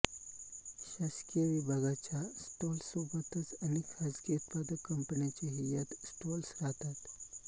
शासकीय विभागांच्या स्टॉल्ससोबतच अनेक खाजगी उत्पादक कंपन्यांचेही यात स्टॉल्स राहतात